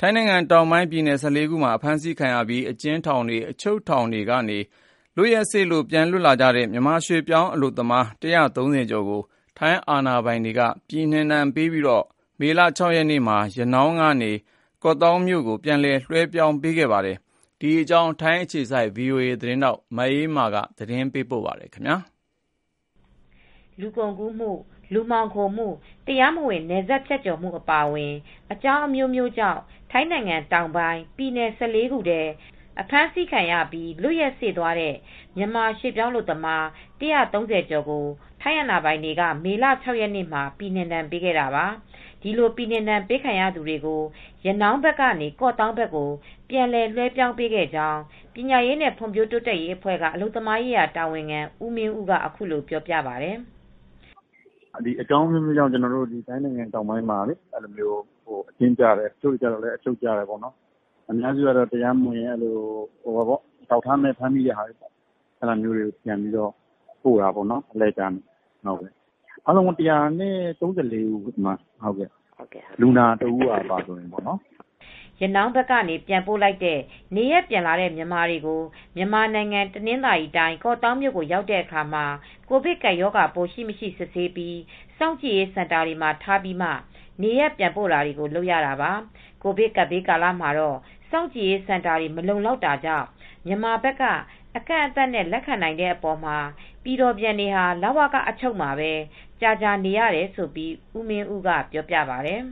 ထိုင်းနိုင်ငံတောင်းပိုင်းပြည်နယ် ၁၄ ခုအတွင်းမှာ အဖမ်းဆီးခံရပြီး အကျဉ်းထောင်တွေ အချုပ်တွေကနေ လွက်ရက်စေ့သွားတဲ့ မြန်မာရွှေပြောင်းအလုပ်သမား ၁၃၀ကျော်ကို ထိုင်းအာဏာပိုင်တွေက ပြည်နှင်ဒဏ်ပေးပြီး မေလ ၆ရက်နေ့မှာ ရနောင်းကနေ ကော့သောင်းမြို့ကို ပြန်လည် လွှဲပြောင်းပေးခဲ့ပါတယ်။ ဒီသတင်းကို ဗွီအိုအေ သတင်းထောက် မအေးအေးမာက သတင်းပေးပို့ ထားပါတယ်။ လူကုန်ကူးမှု လူမှောင်ခိုမူ့တရားမဝင် နယ်စပ်ဖြတ်ကျော်မှု အပါအဝင် အကြောင်းအမျိုးမျိုးကြောင့် ထိုင်းနိုင်ငံတောင်းပိုင်း ပြည်နယ် ၁၄ ခုထဲ အဖမ်းဆီးခံရပြီး လွက်ရက်စေ့သွားတဲ့ မြန်မာရွှေပြောင်းအလုပ်သမား ၁၃၀ကျော်ကို ထိုင်းအာဏာပိုင်တွေက မေလ ၆ရက်နေ့မှာ ပြည်နှင်ဒဏ်ပေးခဲ့တာပါ။ဒီလို ပြည်နှင်ဒဏ်ပေးခံရသူတွေကို ရနောင်းဘက်ကနေ ကော့သောင်းဘက်ကို ပြန်လည်လွဲှပြောင်းပေးခဲ့ကြောင်း ပညာရေးနဲ့ ဖွံဖြိုးတိုးတက်ရေးအဖွဲ့က အလုပ်သမားရေး တာဝန်ခံ ဦးမင်းဦးကအခုလိုပြောပါတယ် " အကြောင်းအမျိုးမျိုးကြောင့် ထိုင်းနိုင်ငံတောင်ပိုင်းမှာ အချုပ်ကျတဲ့ အများစုကတော့ တရားမဝင် အထောက်အထားမဲ့ ဖမ်းဆီးခံရသူတွေကို အလှည့်ကျနဲ့ ပြန်ပို့တာပေါ့နော်။ အားလုံးပေါင်း ၁၃၄ဦးပါလူနာတဦးပါအပါဝင်ပေါ့နော် " ရနောင်းဘက်ကနေ ပြန်ပို့လိုက်တဲ့ နေရပ်ပြန်လာတဲ့ မြန်မာတွေကို မြန်မာနိုင်ငံ တနင်္သာရီတိုင်း ကော့သောင်းမြို့ရောက်တဲ့အခါမှာ ကိုဗစ်ကပ်ရောဂါပိုး ရှိမရှိ စစ်ဆေးပြီး စောင့်ကြည့်ရေးစင်တာတွေမှာ ထားပြီးမှ နေရပ်ပြန်ပို့တာတွေ လုပ်ရတာပါ။ ကိုဗစ်ကပ်ဘေးကာလမှာတော့ စောင့်ကြည့်ရေးစင်တာတွေ မလုံလောက်တာကြောင့် မြန်မာဘက်က အကန့်အသတ်နဲ့သာ လက်ခံနိုင်တဲ့အပေါ်မှာ ပြည်တော်ပြန်တွေဟာ လဝကအချုပ်မှာပဲ ကြာကြာနေရတယ်လို့ ဦးမင်းဦးကပြောပါတယ်။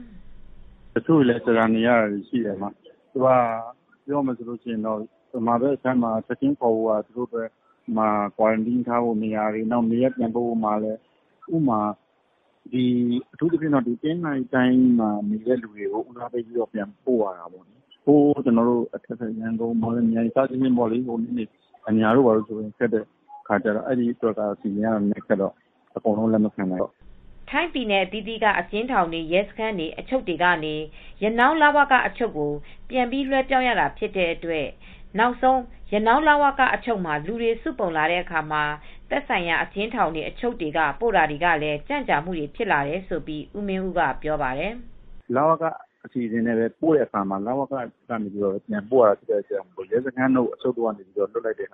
"တချို့လည်းကြာကြာနေနေရတယ်။ မြန်မာဘက်မှာထားဖို့ကလည်း ချက်ချင်းခေါ်ဖို့က တချို့လည်းကွာရမ်တင်း ထားဖို့ကလိုတယ် ။ အထူးသဖြင့် တနင်္သာရီတိုင်းကလူတွေကို ဦးစားပေးပြီးပြန်ပို့ရတယ် ရန်ကုန် မော်လမြိုင်တို့အညာတို့ဘက်ကလူတွေကိုတော့အကုန်လုံးလက်မခံနိုင်ဘူး) ထိုင်းပြည်နယ်အသီးသီးက အကျဉ်းထောင်တွေ ရဲစခန်းတွေ အချုပ်တွေကနေ ရနောင်းလဝက အချုပ်ကိုပြန်ပြီး လွဲှပြောင်းရတာဖြစ်တဲ့အတွက် နောက်ဆုံးရနောင်း လဝက အချုပ်မှာ လူတွေ စုပုံလာတဲ့အခါ သက်ဆိုင်ရာ အကျဉ်းထောင်တွေ အချုပ်တွေက ပို့တာတွေကလည်း ကြံကြာမူ့တွေ ဖြစ်လာတယ်လို့ ဦးမင်းဦးကဆိုပါတယ်။ " လဝက အစီစဉ်ကနေပို့တဲ့အခါ လဝကအချုပ်ကနေ ပြန်ပို့ရတာရှိတယ်။ ရဲစခန်းတို့ အချုပ်တို့ ကလည်း လဝကကိုပို့ရတယ်။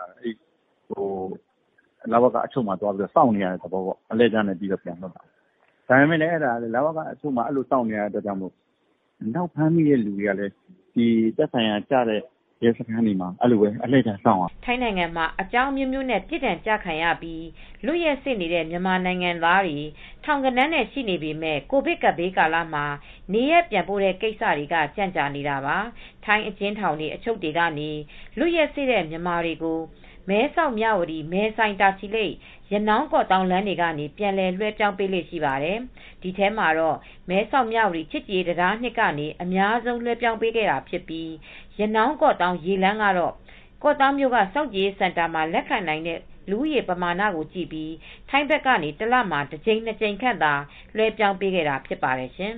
လဝကမှာက ထပ်ပြီးစောင့်နေရတဲ့အတွက် ဖမ်းမိတဲ့သူတွေကလည်းသက်ဆိုင်ရာ ရဲစခန်းတွေမှ ာအဲဒီလိုပဲစောင့်နေရတယ်။ ထိုင်းနိုင်ငံမှာ အကြောင်းအမျိုးမျိုးနဲ့ ပြစ်ဒဏ်ကျခံရပြီး လွတ်ရက်စေ့နေတဲ့ မြန်မာနိုင်ငံသားတွေ ထောင်ဂဏန်းနဲ့ရှိနေပေမယ့် ကိုဗစ်ကပ်ဘေးကာလမှာ နေရပ်ပြန်ပို့တဲ့ကိစ္စတွေကကြန့်ကြာနေတာပါ။ ထိုင်းအကျဉ်းထောင်တွေ၊ အချုပ်တွေက လွတ်ရက်စေ့တဲ့ မြန်မာတွေကို မဲဆောက်၊ မြဝတီ၊ မဲဆိုင်၊ တာချီလိတ်၊ ရနောင်း၊ ကော့သောင်းလမ်းတွေကနေ ပြန်လည် လွဲှပြောင်းပေးလေ့ရှိပါတယ်။ ဒီထဲမှာတော့ မဲဆောက် မြဝတီ ချစ်ကြည်တံတား အမှတ်(၂)ကနေ အများဆုံးလွဲှပြောင်းပေးတာဖြစ်ပြီး ရနောင်း ကေ့ာသောင်း ရေလမ်းကတော့ ကော့သောင်းမြို့က စောင့်ကြည်ရေးစင်တာမှာ လက်ခံနိုင်တဲ့လူဦးရေ ပမာဏကိုကြည့်ပြီး ထိုင်းဖက်ကနေ တလမှာ တကြိမ်နှစ်ကြိမ်ခန့် သာလွဲှပြောင်းပေးခဲ့တာ ဖြစ်ပါတယ်ရှင်